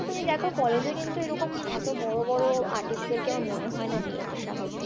তুমি দেখো college এ কিন্তু এরকম এতো বড়ো বড়ো artist দেরকে আমার মনে হয় না নিয়ে আসা হতো,